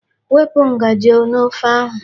Wepụ ngaji n'ofe ahụ.